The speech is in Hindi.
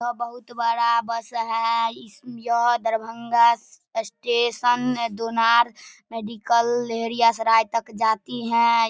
वह बहुत बड़ा बस है इस यह दरभंगा स्टेशन दोनार मेडिकल लहेरिया सराय तक जाती है।